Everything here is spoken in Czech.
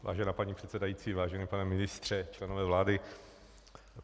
Vážená paní předsedající, vážený pane ministře, členové vlády.